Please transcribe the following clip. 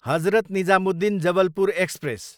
Hazrat Nizamuddin, Jabalpur express